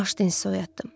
Bağışlayın sizi oyatdım.